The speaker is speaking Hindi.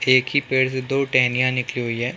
एक ही पेड़ से दो टेहेनीयां निकली हुई है।